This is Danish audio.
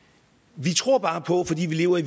vi tror bare på fordi vi lever i